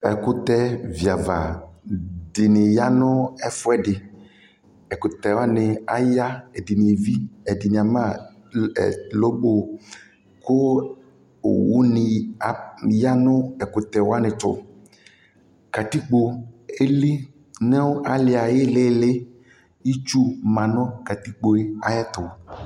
ɛkʋtɛ via aɣa dini yanʋ ɛfʋɛdi ɛkʋtɛ wani aya ɛdini ɛɣi ɛdini ama ɛ lobo kʋ owʋni a yanʋ ɛkutɛ wani tʋ katikpo ɛli nu ali ayi lili itsu manu katikpo ayɛtʋ